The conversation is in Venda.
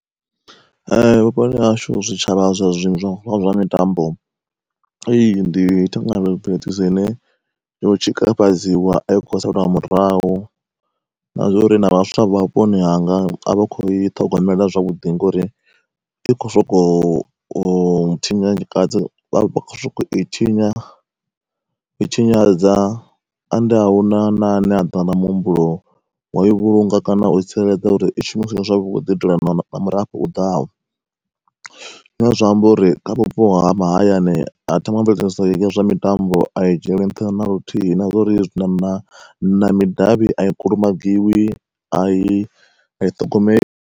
Vhuponi hashu zwitshavha zwa zwa zwa mitambo ine yo tshikafhadziwa ai kho u saliwa murahu, na zwa uri na vhaswa vha vhuponi hanga a vha khou i ṱhogomela zwavhuḓi ngori i khou sokou u tshinyakadziwa vha kho sokou u i tshinyadza ende ahuna na a ne a ḓa na muhumbulo wa i vhulunga kana u tsireledza uri i shumise zwavhuḓi u itela na murafho u ḓaho. Zwine zwiamba uri kha vhupo ha mahayani ya zwa mitambo a i dzhieli nṱha naluthihi na zwa uri hezwi na na na midavhi a i kulumagiwi a i a i ṱhogomeli.